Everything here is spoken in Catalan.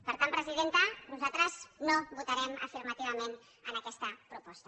per tant presidenta nosaltres no votarem afirmativament aquesta proposta